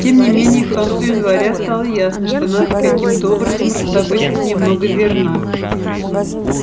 тем не менее к концу января стало ясно что надо каким-то образом раздобыть хоть немного зерна